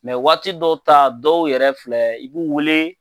Mɛ waati dɔ ta, dɔw yɛrɛ filɛ i b'u wele,